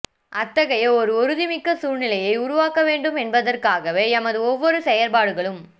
அத்தகைய ஒரு உறுதிமிக்க சூழ்நிலையை உருவாக்கவேண்டும் என்பதற்காகவே எமது ஒவ்வொரு செயற்பாடுகளும்